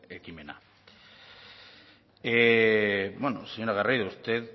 ekimena señora garrido usted